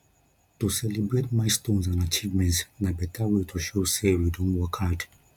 to celebrate milestones and achievements na beta way to show sey we don work hard